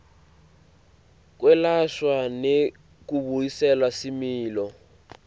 kwelashwa nekubuyisela similo